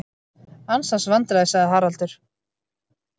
Ansans vandræði sagði Haraldur.